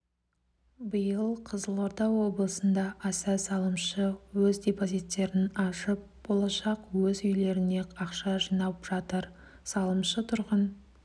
биыл қызылорда облысында аса салымшы өз депозиттерін ашып болашақ өз үйлеріне ақша жинап жатыр салымшы тұрғын